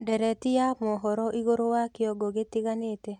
ndereti ya mohoro ĩgũrũ wa kĩongo gitiganite